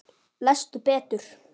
Lestu betur!